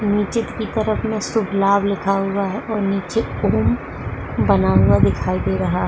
नीचे की तरफ में शुभ-लाभ लिखा हुआ है और नीचे ऊं बना हुआ दिखाई दे रहा --